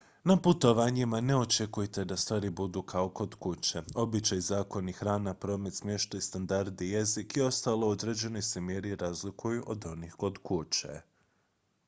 na putovanjima ne očekujte da stvari budu kao kod kuće običaji zakoni hrana promet smještaj standardi jezik i ostalo u određenoj se mjeri razlikuju od onih kod kuće